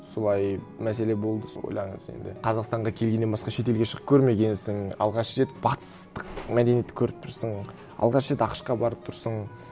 солай мәселе болды сол ойлаңыз енді қазақстанға келгеннен басқа шетелге шығып көрмегенсің алғаш рет батыстық мәдениетті көріп тұрсың алғаш рет ақш қа барып тұрсың